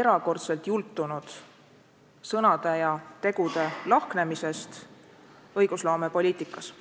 erakordselt jultunud sõnade ja tegude lahknemisest õigusloomepoliitikas.